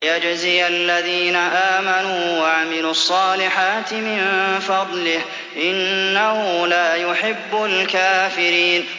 لِيَجْزِيَ الَّذِينَ آمَنُوا وَعَمِلُوا الصَّالِحَاتِ مِن فَضْلِهِ ۚ إِنَّهُ لَا يُحِبُّ الْكَافِرِينَ